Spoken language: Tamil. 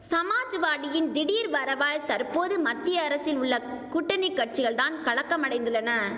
சமாஜ்வாடியின் திடீர் வரவால் தற்போது மத்திய அரசில் உள்ள கூட்டணி கட்சிகள் தான் கலக்கம் அடைந்துள்ளன